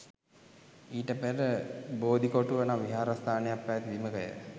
ඊට පෙර බෝධිකොටුව නම් විහාරස්ථානයක් පැවැති බිමක ය.